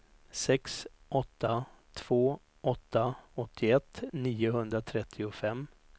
sex åtta två åtta åttioett niohundratrettiofem